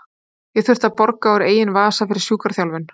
Ég þurfti að borga úr eigin vasa fyrir sjúkraþjálfun.